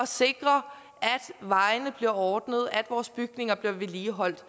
sikre at vejene bliver ordnet at vores bygninger bliver vedligeholdt